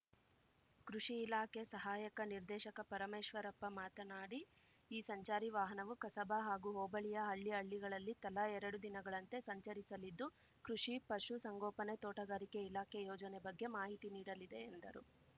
ಕೃಷಿ ಇಲಾಖೆ ಸಹಾಯಕ ನಿರ್ದೇಶಕ ಪರಮೇಶ್ವರಪ್ಪ ಮಾತನಾಡಿ ಈ ಸಂಚಾರಿ ವಾಹನವು ಕಸಬಾ ಹಾಗೂ ಹೋಬಳಿಯ ಹಳ್ಳಿ ಹಳ್ಳಿಗಳಲ್ಲಿ ತಲಾ ಎರಡು ದಿನಗಳಂತೆ ಸಂಚರಿಸಲಿದ್ದು ಕೃಷಿ ಪಶು ಸಂಗೋಪನೆ ತೋಟಗಾರಿಕೆ ಇಲಾಖೆ ಯೋಜನೆ ಬಗ್ಗೆ ಮಾಹಿತಿ ನೀಡಲಿದೆ ಎಂದರು